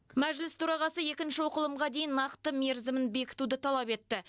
мәжіліс төрағасы екінші оқылымға дейін нақты мерзімін бекітуді талап етті